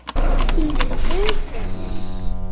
Síðustu fötin.